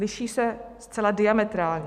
Liší se zcela diametrálně.